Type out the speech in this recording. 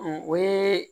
o ye